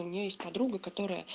у нее есть подруга которая